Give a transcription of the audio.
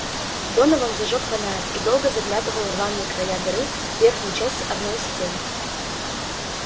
донован зажёг фонарь и долго заглядывал рваные края дыры в верхней части одной из стен